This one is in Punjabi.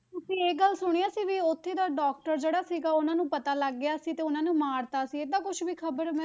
ਤੁਸੀਂ ਇਹ ਗੱਲ ਸੁਣਿਆ ਸੀ ਵੀ ਉੱਥੇ ਦਾ doctor ਜਿਹੜਾ ਸੀਗਾ ਉਹਨਾਂ ਨੂੰ ਪਤਾ ਲੱਗ ਗਿਆ ਸੀ ਤੇ ਉਹਨਾਂ ਨੂੰ ਮਾਰ ਦਿੱਤਾ ਸੀ ਏਦਾਂ ਕੁਛ ਵੀ ਖ਼ਬਰ ਮੈਂ,